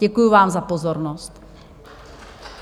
Děkuji vám za pozornost.